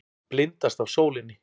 Blindast af sólinni.